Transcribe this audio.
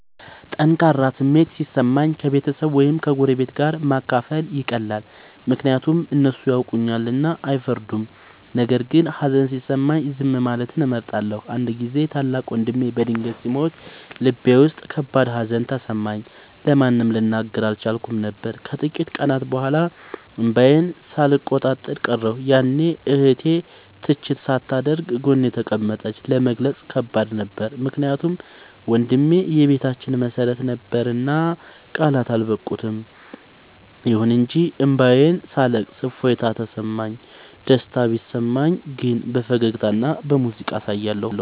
ጠንካራ ስሜት ሲሰማኝ ከቤተሰብ ወይም ከጎረቤት ጋር ማካፈል ይቀላል፤ ምክንያቱም እነሱ ያውቁኛልና አይፈርዱም። ነገር ግን ሀዘን ሲሰማኝ ዝም ማለትን እመርጣለሁ። አንድ ጊዜ ታላቅ ወንድሜ በድንገት ሲሞት ልቤ ውስጥ ከባድ ሀዘን ተሰማኝ፤ ለማንም ልናገር አልቻልኩም ነበር። ከጥቂት ቀናት በኋላ እንባዬን ሳልቆጣጠር ቀረሁ፤ ያኔ እህቴ ትችት ሳታደርግ ጎኔ ተቀመጠች። ለመግለጽ ከባድ ነበር ምክንያቱም ወንድሜ የቤታችን መሰረት ነበርና ቃላት አልበቁም። ይሁን እንጂ እንባዬን ሳለቅስ እፎይታ ተሰማሁ። ደስታ ሲሰማኝ ግን በፈገግታና በሙዚቃ አሳያለሁ።